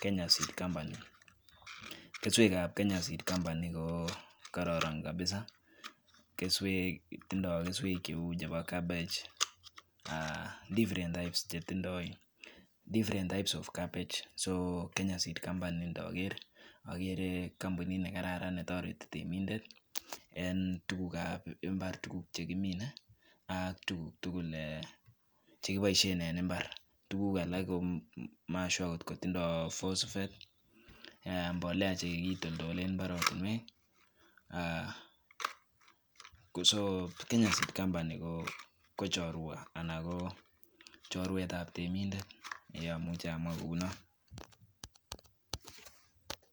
[s]Kenya seed company [s]kesweekab Kenya seed company ko kororon kot [s]kabisaa [s]kesweek tindoo kesweek cheu chebo cabbage uh different types chetindo different types of cabbage ko [s]Kenya seed company [s]ndoger agere kampunit nekararan netoreti temindet en tugukab imbar tuguk chekimine ak tuguk tugul eh chekiboishien en imbar tuguk alak ko mashua tindoo phosphate chekitoldolen imbarenik uh so Kenya seed company ko chorwa anan kochorwetab temindet amuchi amwaa kou non.